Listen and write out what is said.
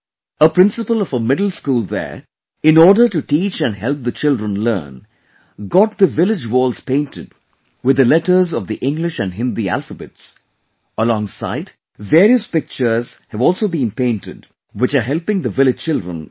A principal of a middle school there, in order to teach and help the children learn, got the village walls painted with the letters of the English and Hindi alphabets ; alongside various pictures have also been painted which are helping the village children a lot